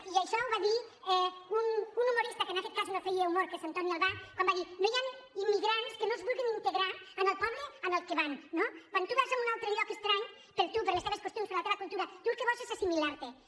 i això ho va dir un hu·morista que en aquest cas no feia humor que és en toni albà quan va dir no hi han immigrants que no es vulguin integrar en el poble al qual van no quan tu vas a un altre lloc estrany per tu pels teus costums per la teva cultura tu el que vols és assimilar·t’hi